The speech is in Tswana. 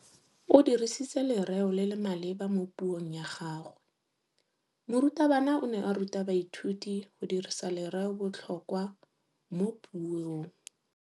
O dirisitse lerêo le le maleba mo puông ya gagwe. Morutabana o ne a ruta baithuti go dirisa lêrêôbotlhôkwa mo puong.